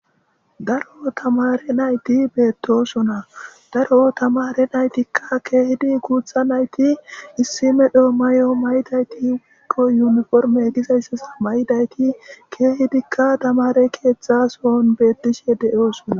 Daro tamare nayti beettosona daro tamare naytikka keehidi kuutha nayti issime dhoo mayo may7idaytiikko yuniforme gizayssas maydayti keehidikka damare keeththasoon beettishe de7oosona